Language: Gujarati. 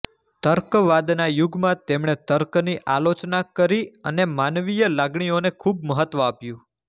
તર્કવાદના યુગમાં તેમણે તર્કની આલોચના કરી અને માનવીય લાગણીઓને ખૂબ મહત્વ આપ્યું